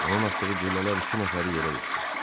Onun atdığı güllələr iki nəfəri yerə yıxdı.